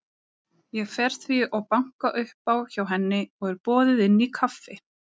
Ég fer því og banka upp á hjá henni og er boðið inn í kaffi.